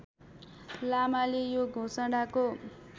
लामाले यो घोषणाको